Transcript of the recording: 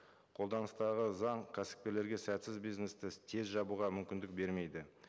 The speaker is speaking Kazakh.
қолданыстағы заң кәсіпкерлерге сәтсіз бизнесті тез жабуға мүмкіндік бермейді